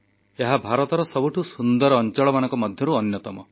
ଏହା ଭାରତର ସବୁଠୁ ସୁନ୍ଦର ଅଞ୍ଚଳମାନଙ୍କ ମଧ୍ୟରୁ ଅନ୍ୟତମ